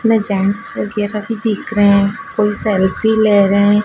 इसमें जेंट्स वगैरा भी दिख रहे हैं कोई सेल्फी ले रहे हैं।